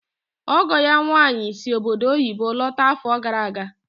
Ọgọ ya nwaanyị si obodo oyibo lọta afọ gara aga.